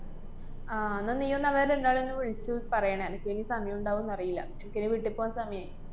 ആഹ് ന്നാ നീയൊന്ന് അവരെ രണ്ടാളേം ഒന്ന് വിളിച്ച് പറയണെ. എനക്കിനി സമയുണ്ടാവൂന്ന് അറിയില്ല. എനക്കിനി വീട്ടിപ്പൂവാന്‍ സമയായി.